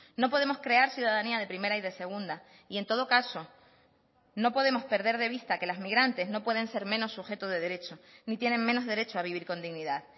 no podemos crear ciudadanía de primera y de segunda y en todo caso no podemos perder de vista que las migrantes no pueden ser menos sujeto de derecho ni tienen menos derecho a vivir con dignidad